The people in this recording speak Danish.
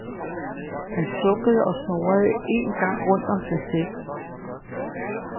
Han sukkede og snurrede en gang rundt om sig selv.